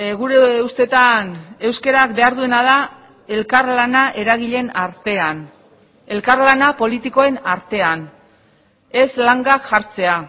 gure ustetan euskarak behar duena da elkarlana eragileen artean elkarlana politikoen artean ez langak jartzea